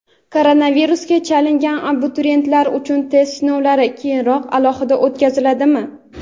Koronavirusga chalingan abituriyentlar uchun test sinovlari keyinroq alohida o‘tkaziladimi?.